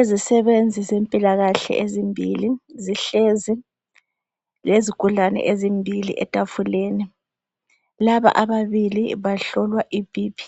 Izisebenzi ezempilakahle ezimbili zihlezinl lezigulane ezimbili etafuleni. Laba ababili bahlolwa iBP